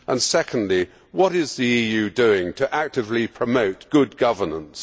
Secondly, what is the EU doing to actively promote good governance?